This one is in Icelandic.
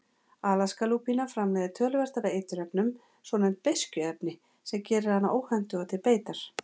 Alaskalúpína framleiðir töluvert af eiturefnum, svonefnd beiskjuefni, sem gerir hana óhentuga til beitar.